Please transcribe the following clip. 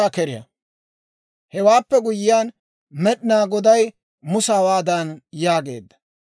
Hewaappe guyyiyaan Med'inaa Goday Musa hawaadan yaageedda;